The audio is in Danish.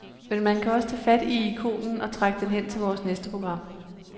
Men man kan også tage fat i ikonen og trække den hen til vores næste program.